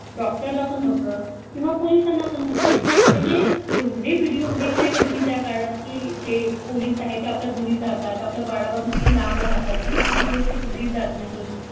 doctor ला पण होत किंवा पोलिसाना पण होते म्हणजे एवढे video बघितले आहे ना मी त्या काळात की जे पोलीस आहे ते आपल्या घरी जातात आपल्या बाळापासून किती लांब राहतात किती किती दिवस ते घरी जात नाही